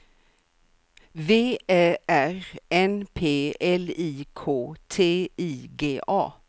V Ä R N P L I K T I G A